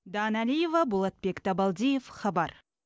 дана алиева болатбек табалдиев хабар